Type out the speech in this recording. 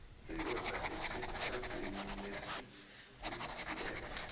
indoda esemtjhadweni wesimuslimu